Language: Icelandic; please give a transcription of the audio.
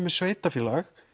með sveitafélag